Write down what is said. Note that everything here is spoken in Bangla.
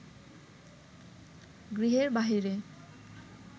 গৃহের বাহিরে